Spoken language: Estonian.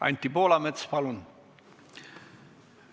Anti Poolamets, palun!